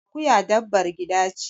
Akuya dabbar gida ce.